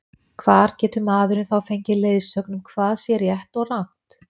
hvar getur maðurinn þá fengið leiðsögn um hvað sé rétt og rangt